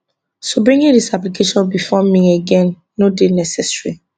so bringing dis application bifor me again no dey necessary